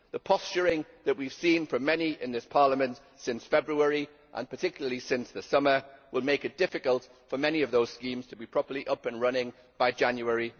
The posturing that we have seen from many in this Parliament since February, and particularly since the summer, will make it difficult for many of those schemes to be properly up and running by 1 January.